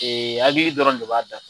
Hakili dɔrɔn de b'a da